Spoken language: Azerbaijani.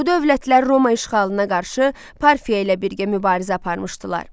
Bu dövlətlər Roma işğalına qarşı Parfiya ilə birgə mübarizə aparmışdılar.